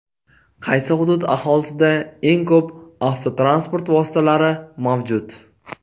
Qaysi hudud aholisida eng ko‘p avtotransport vositalari mavjud?.